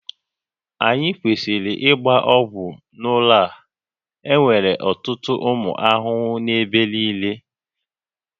Anyị kwesịrị ịgba ọgwụ n'ụlọ a, enwere ọtụtụ ụmụ ahụhụ n'ebe niile